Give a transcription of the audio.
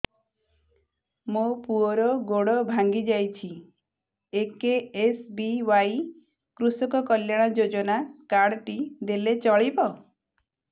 ମୋ ପୁଅର ଗୋଡ଼ ଭାଙ୍ଗି ଯାଇଛି ଏ କେ.ଏସ୍.ବି.ୱାଇ କୃଷକ କଲ୍ୟାଣ ଯୋଜନା କାର୍ଡ ଟି ଦେଲେ ଚଳିବ